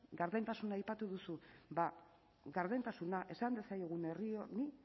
gardentasuna aipatu duzu ba gardentasuna esan diezaiegun herri honi